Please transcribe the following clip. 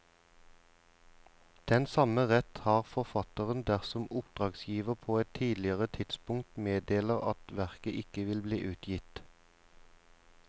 Den samme rett har forfatteren dersom oppdragsgiver på et tidligere tidspunkt meddeler at verket ikke vil bli utgitt.